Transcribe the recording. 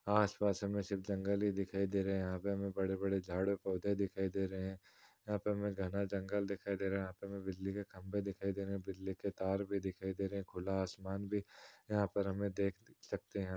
आसपास हमें सिर्फ जंगल ही दिखाई दे रहे हैं। यहाँ पे हमे बड़े-बड़े झाड़ पौधे दिखाई दे रहे हैं। यहाँ पर हमे घना जंगल दिखाई दे रहे हैं। यहाँ पर हमे बिजली के खंबे दिखाई दे रहे हैं बिजली के तार भी दिखाई दे रहे हैं खुला आसमान भी यहाँ पे हम देख सकते हैं।